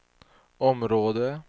område